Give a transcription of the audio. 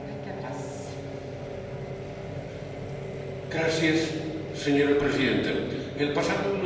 Señora presidenta, el pasado 1 de junio una moción de censura echó del Gobierno de España a Mariano Rajoy.